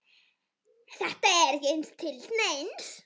Þetta er ekki til neins.